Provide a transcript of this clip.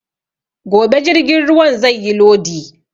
Gobe jirgin zai yi lodi